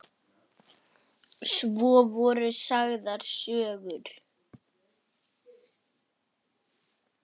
Svo voru sagðar sögur.